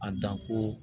A dan ko